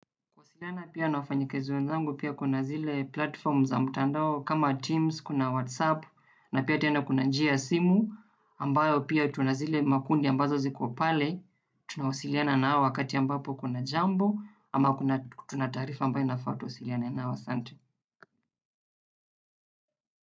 Kuwasiliana pia na wafanyikazi wenzangu pia kuna zile platform za mtandao kama Teams, kuna WhatsApp, na pia tena kuna njia ya simu, ambayo pia tuna zile makundi ambazo ziko pale, tunawasiliana nao wakati ambapo kuna jambo, ama kuna tuna taarifa ambayo inafaa tuwasiliane nao asante.